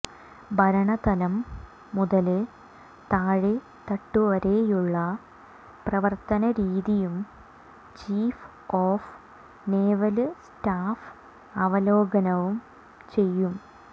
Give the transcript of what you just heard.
ഭരണതലം മുതല് താഴേ തട്ടുവരെയുള്ള പ്രവര്ത്തന രീതിയും ചീഫ് ഓഫ് നേവല് സ്റ്റാഫ് അവലോകനം ചെയ്യും